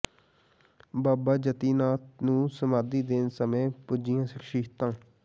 ਬਾਬਾ ਜਤੀ ਨਾਥ ਨੂੰ ਸਮਾਧੀ ਦੇਣ ਸਮੇਂ ਪੁੱਜੀਆਂ ਸ਼ਖ਼ਸੀਅਤਾਂ